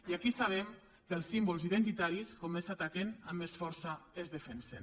i aquí sabem que els símbols identitaris com més s’ataquen amb més força es defensen